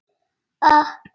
Þetta var þriðja kortið.